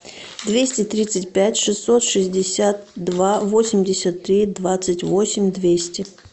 двести тридцать пять шестьсот шестьдесят два восемьдесят три двадцать восемь двести